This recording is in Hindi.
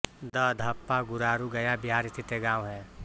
दधप्पा गुरारू गया बिहार स्थित एक गाँव है